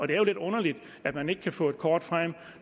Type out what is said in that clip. det er jo lidt underligt at man ikke kan få et kort frem